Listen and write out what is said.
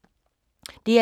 DR2